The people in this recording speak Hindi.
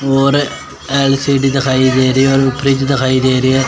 और एल_सी_डी दिखाई दे रही है और फ्रिज दिखाई दे रही है।